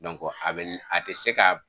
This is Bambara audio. a bɛ a tɛ se ka.